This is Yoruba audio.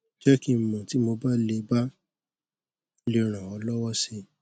jẹ kí n mọ tí mo bá lè bá lè ràn ọ lọwọ si